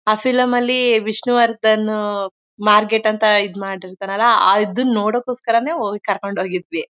ಆ ಫಿಲ್ಮ್ ಅಲ್ಲಿ ವಿಷ್ಣುವರ್ಧನ್ ಮಾರ್ಗೇಟ್ ಅಂತ ಇದ್ ಮಾಡಿರ್ತನಲ್ಲಾ ಅದನ್ ನೋಡೊಕೊಸ್ಕೊರನೇ ಹೋಗಿ ಕರ್ಕೊಂಡ್ ಹೋಗಿದ್ವಿ.